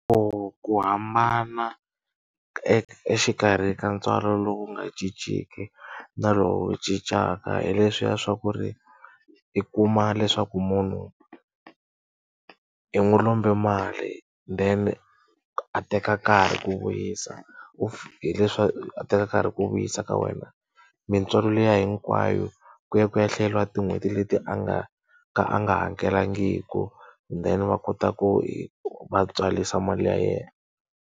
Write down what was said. Ku ku hambana exikarhi ka ntswalo lowu nga cinciki na lowu cincaka hi leswiya swa ku ri, i kuma leswaku munhu i i n'wi lombe mali then a teka nkarhi ku vuyisa a teka nkarhi ku vuyisa ka wena. Mintswalo liya hinkwayo ku ya ku ya hlayeriwa tin'hweti leti a nga ka a nga hakelangiki then va kota ku va tswarisa mali ya yena.